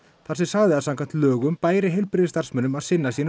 þar sem sagði að samkvæmt lögum bæri heilbrigðisstarfsmönnum að sinna sínum